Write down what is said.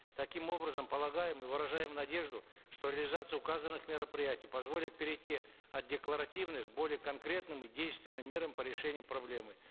таким образом полагаем и выражаем надежду что реализация указанных мероприятий позволит перейти от декларативных к более конкретным и действенным мерам по решению проблемы